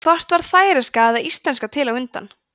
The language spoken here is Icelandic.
hvort varð færeyska eða íslenska til á undan